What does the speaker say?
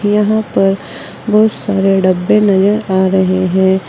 यहाँ पर बहुत सारे डब्बे नज़र आ रहे है।